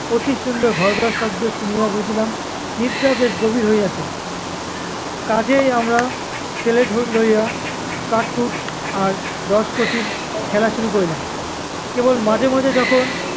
অতি সুন্দর ঘড়ঘড় শব্দ শুনিয়া বুঝিলাম নিদ্রা বেশ গভীর হইয়াছে। কাজেই আমরা slate লইয়া কাঠ কুঠ আর দশ পঁচিশ খেলা শুরু করিলাম। কেবল মাঝেমাঝে যখন